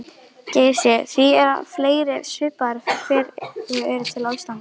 Geysi því að fleiri svipaðir hverir eru til á Íslandi.